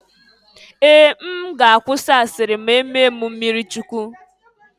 Ee! M ga-akwụsi asịrị ma-emee m mmirichukwu.